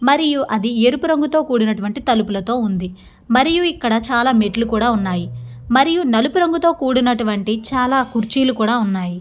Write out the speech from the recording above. మరియు అది ఎరుపు రంగుతో కూడినటువంటి తలుపులతో ఉంది మరియు ఇక్కడ చాలా మెట్లు కూడా ఉన్నాయి మరియు నలుపు రంగుతో కూడినటువంటి చాలా కుర్చీలు కూడా ఉన్నాయి.